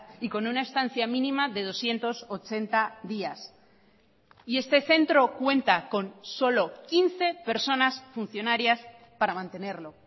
y con una estancia mínima de doscientos ochenta días y este centro cuenta con solo quince personas funcionarias para mantenerlo